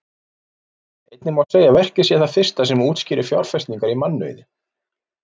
Einnig má segja að verkið sé það fyrsta sem útskýrir fjárfestingar í mannauði.